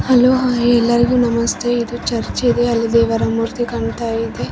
ಇಲ್ಲಿ ಒಂದು ಚರ್ಚ್ ಇದೆ ಈ ಚರ್ಚ್ ಅಲ್ಲಿ --